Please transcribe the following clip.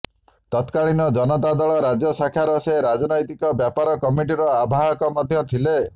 ତତ୍କାଳୀନ ଜନତା ଦଳ ରାଜ୍ୟ ଶାଖାର ସେ ରାଜନୈତିକ ବ୍ୟାପାର କମିଟିର ଆବାହାକ ମଧ୍ୟ ଥିଲେ